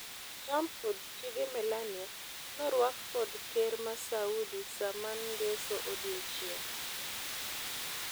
Trump kod chiege Melania norwak kod Kerr ma Saudi Saman ngeso odiochieng.